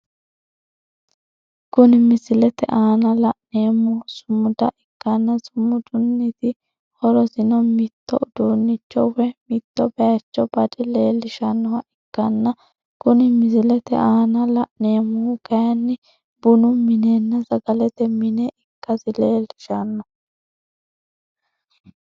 Kunni misilete aanna la'neemohu sumuda ikanna sumudunniti horosino mitto uduunicho woyi mitto bayicho bade leelishanoha ikanna kunni misilete aanna la'neemohu kayinni bunu minenna sagalete mine ikasi leelishano.